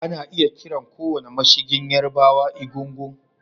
Ana iya kiran kowane mashigin Yarbawa Egungun